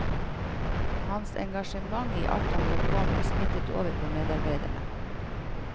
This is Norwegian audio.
Hans engasjement i alt han drev på med, smittet over på medarbeidere.